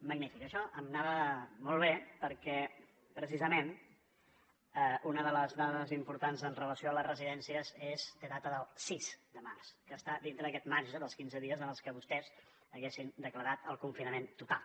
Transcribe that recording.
magnífic això m’anava molt bé perquè precisament una de les dades importants amb relació a les residències té data del sis de març que està dintre d’aquest marge dels quinze dies en què vostès haguessin declarat el confinament total